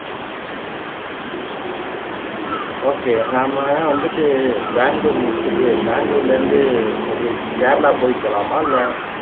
okay நாம வந்துட்டு பெங்களூர் முடிச்சிட்டு பெங்களூர்ல இருந்து அப்படியே கேரளா போய் போகலாமா இல்ல